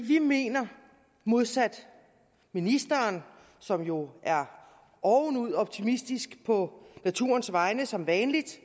vi mener modsat ministeren som jo er ovenud optimistisk på naturens vegne som vanligt